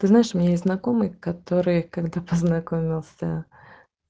знаешь меня и знакомых которые когда познакомился